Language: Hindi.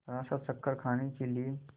जरासा चक्कर खाने के लिए